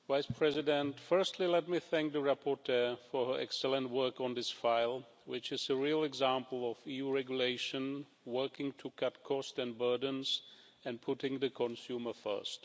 Madam President, firstly, let me thank the rapporteur for her excellent work on this proposal, which is a real example of EU regulation working to cut costs and burdens, and putting the consumer first.